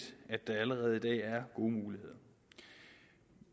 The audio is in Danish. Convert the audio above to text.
at der allerede i dag er gode muligheder